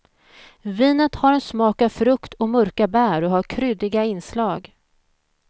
Vinet har en smak av frukt och mörka bär och har kryddiga inslag.